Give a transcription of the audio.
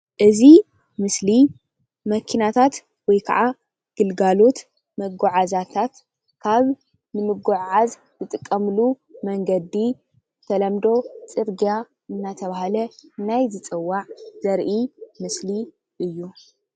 እዚ ምስሊ መኪናታት ወይ ከዓ ግልጋሎት መጓዓዝያታት ካብ ንምጉዕዓዝ ዝጥቀሙሉ መንገዲ ብተለምዶ ፅርግያ እንዳተባሃለ ናይ ዝፅዋዕ ዘርኢ ምስሊ እዩ፡፡